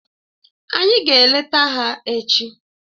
Anyị ga-eleta ha echi.